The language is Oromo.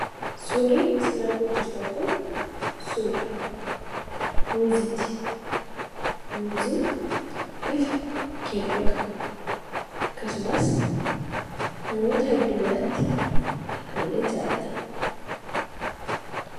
Suurri sin argaa jirtan kun suura muuziiti. Muuziin bifa keelloo qaba. Akkasumas namoota hedduu biratti akka malee jaallatama.